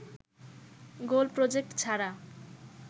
গোল project ছাড়া